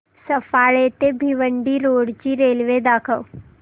सफाळे ते भिवंडी रोड ची रेल्वे दाखव